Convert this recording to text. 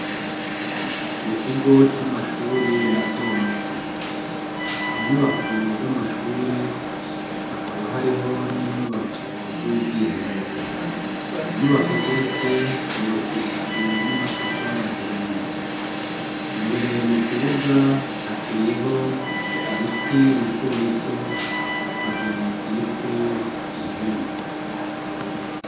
Mu kigo camashure matomato , inyubako zamashure Hakaba hari inyubako yubwiherero inyubako zose zubakishijwe namatafari ahiye imbere mukibuga hateye ibiti bitobito bavyanikiyeko impuzu .